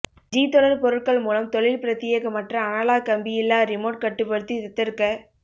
G தொடர் பொருட்கள் மூலம் தொழில் பிரத்தியேகமற்ற அனலாக் கம்பியில்லா ரிமோட் கட்டுப்படுத்தி தத்தெடுக்க